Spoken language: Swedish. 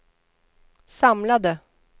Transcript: samlade